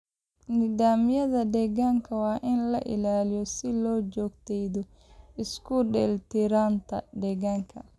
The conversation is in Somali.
Nidaamyada deegaanka waa in la ilaaliyo si loo joogteeyo isku dheellitirnaanta deegaanka.